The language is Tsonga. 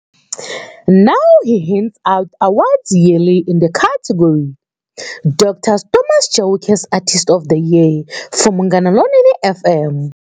Now he hands out awards yearly in the category-Dr. Thomas Chauke's Artist of the Year for Munghana Lonene Fm.